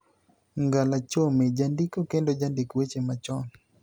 Ngala Chome, jandiko kendo jandik weche machon,